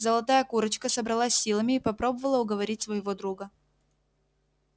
золотая курочка собралась с силами и попробовала уговорить своего друга